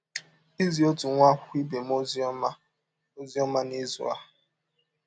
Izi ọtụ nwa akwụkwọ ibe m ọzi ọma m ọzi ọma n’izụ a.